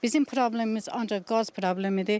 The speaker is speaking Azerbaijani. Bizim problemimiz ancaq qaz problemidir.